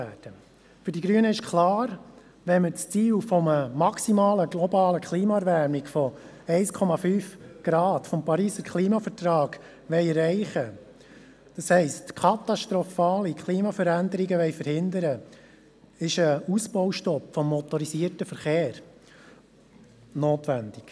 Will man das Ziel der globalen und maximalen Klimaerwärmung von 1,5 Grad Celsius gemäss des Pariser Klimavertrags erreichen, das heisst, wenn wir katastrophale Klimaveränderungen verhindern wollen, ist ein Ausbaustopp des motorisierten Verkehrs notwendig.